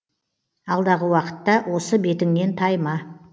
алдағы уақытта осы бетіңнен тайма